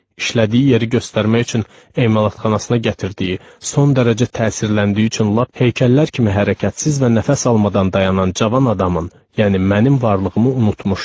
İşlədiyi yeri göstərmək üçün emalatxanasına gətirdiyi son dərəcə təsirləndiyi üçün lap heykəllər kimi hərəkətsiz və nəfəs almadan dayanan cavan adamın, yəni mənim varlığımı unutmuşdu.